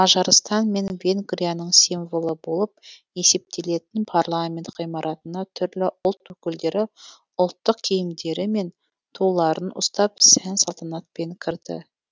мажарстан мен венгрияның символы болып есептелетін парламент ғимаратына түрлі ұлт өкілдері ұлттық киімдері мен туларын ұстап сән салтанатпен кірді